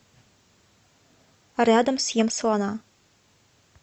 рядом съем слона